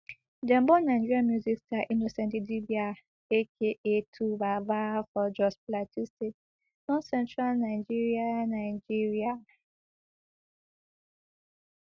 dem born nigeria music star innocent idibia aka twobaba for jos plateau state northcentral nigeria nigeria